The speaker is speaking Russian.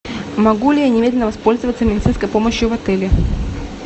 могу ли я немедленно воспользоваться медицинской помощью в отеле